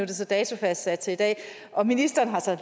det så datofastsat til i dag og ministeren har så